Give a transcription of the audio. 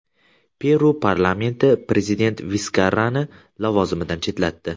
Peru parlamenti prezident Viskarrani lavozimidan chetlatdi.